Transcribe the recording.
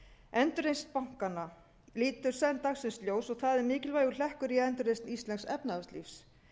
endurreisn bankanna lítur senn dagsins ljós og það er mikilvægur hlekkur í endurreisa íslensks efnahagslífs